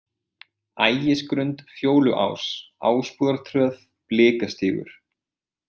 Ægisgrund, Fjóluás, Ásbúðartröð, Blikastígur